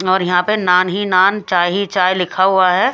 और यहां पे नान ही नान चाय ही चाय लिखा हुआ है।